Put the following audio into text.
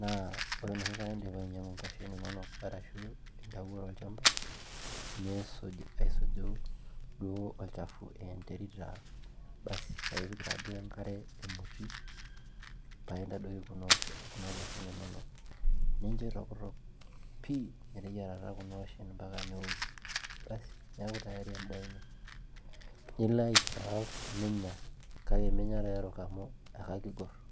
naa ore enoshi kata indipa ainyiang'u nkuashen inonok arashuu intawuo tolchamba niisuj aisuju duo olchafu aa enterit taa basi paa ipik taaduo enkare emoti paa intadoiki kuna kuashen inonok nincho itokitok pii meteyiarata kuna kuashen mpaka neoku basi neeku tayari endaa ino, nilo aiserve ninya kake minya taa erok amu akakigorr.